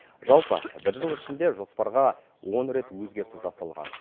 жалпы бір жыл ішінде жоспарға он рет өзгерту жасалған